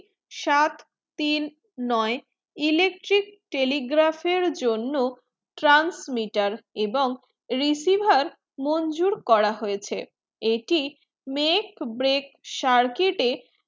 সাত তিন নয় electric telegraph জন্য transmitter এবং receiver মনজুর করা হয়েছে এটি make break circuit